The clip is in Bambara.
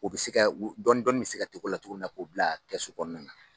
O bɛ se kɛ dɔɔni dɔɔni bɛ se tigɛ o la cogo min na na k'o bila kɛsu kɔnɔna na.